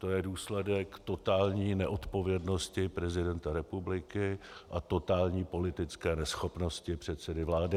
To je důsledek totální neodpovědnosti prezidenta republiky a totální politické neschopnosti předsedy vlády.